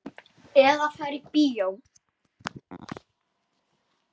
Eða fari í bíó.